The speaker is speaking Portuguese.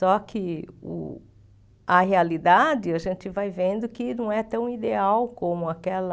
Só que o a realidade a gente vai vendo que não é tão ideal como aquela...